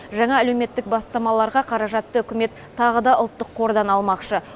жаңа әлеуметтік бастамаларға қаражатты үкімет тағы да ұлттық қордан алмақшы